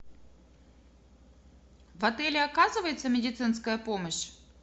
в отеле оказывается медицинская помощь